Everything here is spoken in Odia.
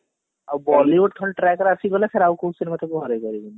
ଆଉ Bollywood ଖାଲି track ରେ ଆସିଗଲେ ଫେରେ ଆଉ କୋଉ ସିନେମା ତାକୁ ହରେଇ ପାରିବନି